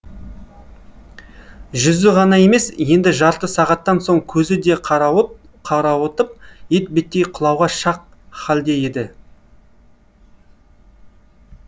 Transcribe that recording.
жүзі ғана емес енді жарты сағаттан соң көзі де қарауытып етбеттей құлауға шақ халде еді